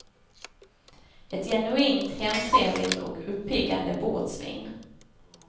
Ett genuint hemtrevligt och uppiggande bordsvin.